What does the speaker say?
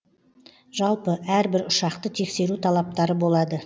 жалпы әр бір ұшақты тексеру талаптары болады